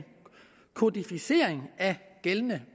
kodificering af gældende